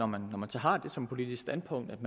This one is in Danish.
man når man så har det som politisk standpunkt